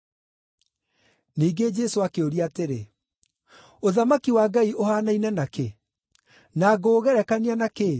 Ningĩ Jesũ akĩũria atĩrĩ, “Ũthamaki wa Ngai ũhaanaine na kĩ? Na ngũũgerekania na kĩĩ?